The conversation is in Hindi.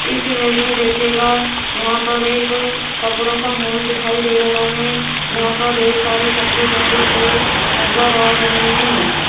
इस इमेज में देखिएगा यहां पर एक कपड़ों का मॉल दिखाई दे रहा है जहां पर ढेर सारे कपड़े टंगे हुए नजर आ रहे हैं।